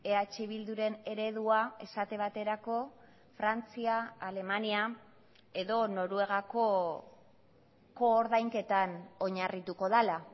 eh bilduren eredua esate baterako frantzia alemania edo noruegako koordainketan oinarrituko dela